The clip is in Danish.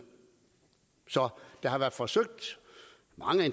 det har været forsøgt